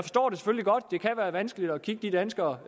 vanskeligt at kigge de danskere